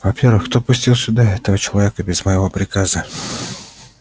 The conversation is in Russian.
во-первых кто пустил сюда этого человека без моего приказа